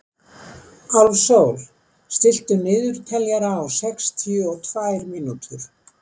Álfsól, stilltu niðurteljara á sextíu og tvær mínútur.